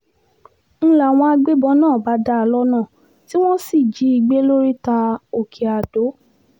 n láwọn agbébọn náà bá dá a lọ́nà tí wọ́n sì jí i gbé lóríta òkè-adó